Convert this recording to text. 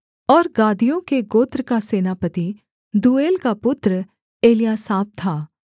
और गादियों के गोत्र का सेनापति दूएल का पुत्र एल्यासाप था